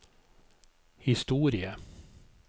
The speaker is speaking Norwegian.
historie